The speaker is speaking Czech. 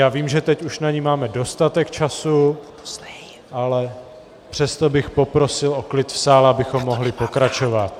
Já vím, že teď už na ni máme dostatek času, ale přesto bych poprosil o klid v sále, abychom mohli pokračovat.